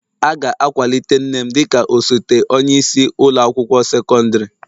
A ga-akwalite nne m dị ka osote onye isi ụlọ akwụkwọ sekọndrị